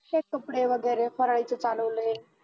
हेच कपडे वगैरे भरायचं चालवलंय.